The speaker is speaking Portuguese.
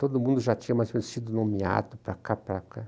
Todo mundo já tinha mais sido nomeado para cá, para cá.